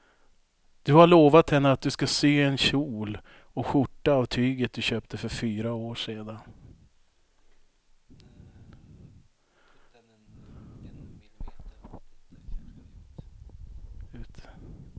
Du har lovat henne att du ska sy en kjol och skjorta av tyget du köpte för fyra år sedan.